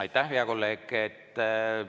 Aitäh, hea kolleeg!